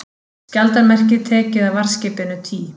Skjaldarmerkið tekið af varðskipinu Tý